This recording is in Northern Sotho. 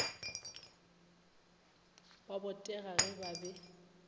ba botega ge ba be